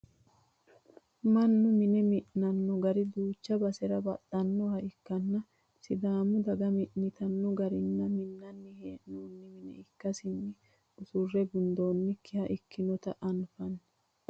mannu mine mi'nanno gari duucha basera baxxannoha ikkanna sidaamu daga mi'nitanno garinni minnani hee'noonni mine ikkasinna usurre gundoonnikiha ikkinota anfanni